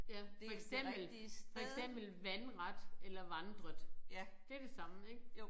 Ja for eksempel for eksempel vandret eller vandret det det samme ik